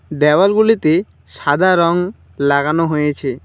দেওয়ালগুলিতে সাদা রং লাগানো হয়েছে।